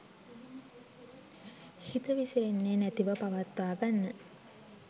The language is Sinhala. හිත විසිරෙන්නෙ නැතිව පවත්වා ගන්න.